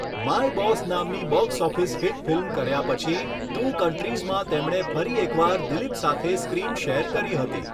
My boss' નામની box office hit film કર્યા પછી 'ટૂ કન્ટ્રીઝ'માં તેમણે ફરી એકવાર દિલીપ સાથે સ્ક્રીન શેર કરી હતી.